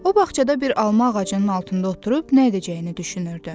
O bağçada bir alma ağacının altında oturub nə edəcəyini düşünürdü.